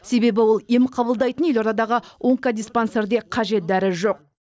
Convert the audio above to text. себебі ол ем қабылдайтын елордадағы онкодиспансерде қажет дәрі жоқ